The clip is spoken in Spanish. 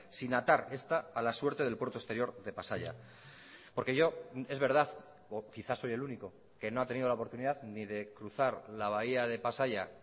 sin atar esta a la suerte del puerto exterior de pasaia porque yo es verdad o quizás soy el único que no ha tenido la oportunidad ni de cruzar la bahía de pasaia